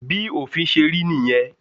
Bí òfin ṣe rí nìyẹn.